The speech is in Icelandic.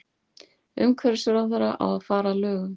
Umhverfisráðherra á að fara að lögum